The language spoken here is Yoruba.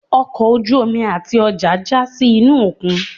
ọkọ ojú-omi atí ọja ja sí inú okún